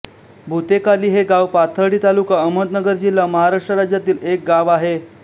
भूतेकाली हे गाव पाथर्डी तालुका अहमदनगर जिल्हा महाराष्ट्र राज्यातील एक गाव आहे